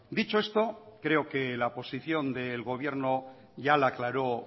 dicho esto creo que la posición del gobierno ya la aclaró